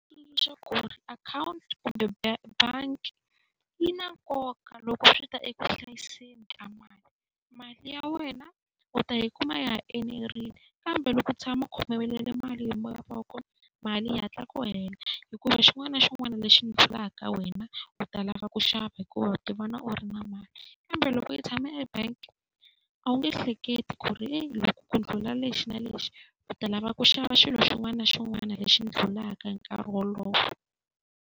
Leswaku ri akhawunti kumbe bangi yi na nkoka loko swi ta eku hlayiseni ka mali, mali ya wena u ta yi kuma ya ha enerile. Kambe loko u tshama u khomelele mali hi moya wa kona mali yi hatla ku hela, hikuva xin'wana na xin'wana lexi ndlulaka ka wena u ta lava ku xava hikuva u ti vona u ri na mali. Kambe loko yi tshama e-bank a wu nge hleketi ku ri loko ku ndlhula lexi na lexi u ta lava ku xava xilo xin'wana na xin'wana lexi ndlulaka hi nkarhi wolowo.